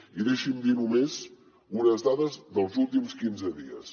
i deixi’m dir només unes dades dels últims quinze dies